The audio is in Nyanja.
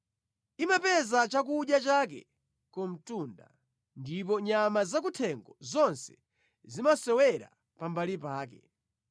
Imapeza chakudya chake ku mtunda ndipo nyama zakuthengo zonse zimasewera pambali pake.